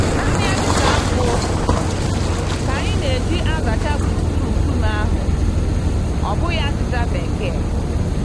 Nanị azịza nkwụ ka anyị n'eji azacha gburugburu nkume ahụ, ọ bụghị azịza bekee